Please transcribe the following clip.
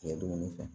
Dumuni fɛ